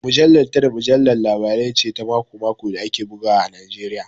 Mujallar Tell Mujallar Labarai ce ta mako-mako da ake bugawa a Najeriya